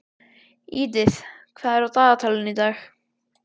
Edith, hvað er á dagatalinu í dag?